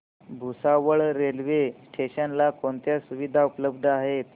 Bhusawal railway station ला कोणत्या सुविधा उपलब्ध आहेत